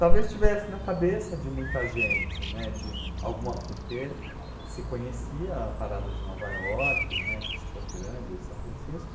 Talvez estivesse na cabeça de muita gente, né, de alguma, porque ah, se conhecia a parada de Nova York, né, que é super grande, de São Francisco,